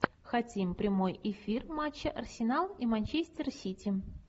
хотим прямой эфир матча арсенал и манчестер сити